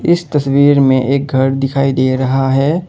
इस तस्वीर में एक घर दिखाई दे रहा है।